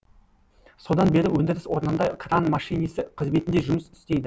содан бері өндіріс орнында кран машинисі қызметінде жұмыс істейді